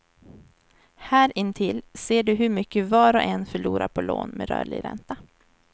Här intill ser du hur mycket var och en förlorar på lån med rörlig ränta.